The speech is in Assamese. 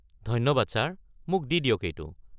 ধন্যবাদ ছাৰ, মোক দি দিয়ক এইটো।